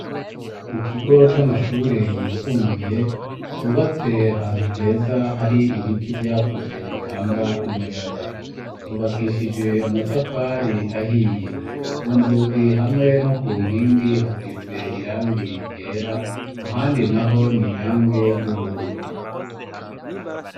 Mu kigo c'amashure yisumbuye cubatse ahantu heza hari ibiti vyakuze bitanga umuyaga. Yubakishijwe amatafari ahiye, ku nzugi hamwe no ku nkingi hasize irangi ryera, ahandi naho ni irangi ry'ubururu.